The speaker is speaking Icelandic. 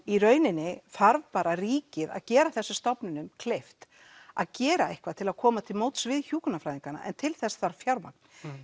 í rauninni þarf bara ríkið að gera þessum stofnunum kleift að gera eitthvað til að koma til móts við hjúkrunarfræðingana en til þess þarf fjármagn